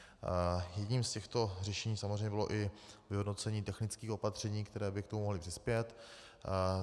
Jedním z těchto řešení samozřejmě bylo i vyhodnocení technických opatření, která by k tomu mohla přispět.